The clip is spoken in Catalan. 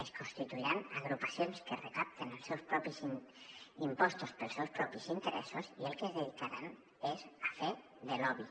es constituiran agrupacions que recapten els seus propis impostos per als seus propis interessos i al que es dedicaran és a fer de lobby